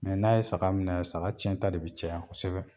Mɛ n'a ye saga minɛ saga cɛn ta de be caya kosɛbɛ